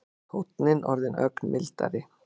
Tónninn orðinn ögn mildari.